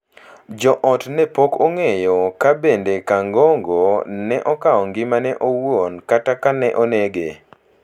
jo ot ne pok ong’eyo ka be Kangogo ne okao ngimane owuon kata ka ne onege.